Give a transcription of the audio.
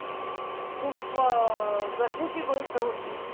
खूप गरजेची गोष्ट होती.